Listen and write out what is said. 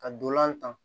Ka dolan tan